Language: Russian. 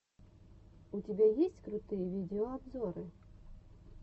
у тебя есть крутые видеообзоры